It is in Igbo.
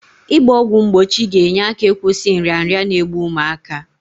Ị gba ọgwụ mgbochi ga-enye aka ịkwụsị nrịanrịa n'egbu ụmụaka.